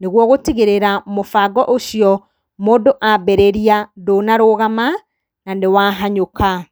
nĩguo gũtigĩrĩra mũbango ũcio mũndũ ambĩrĩria ndũnarũgama, na nĩ wahanyũka.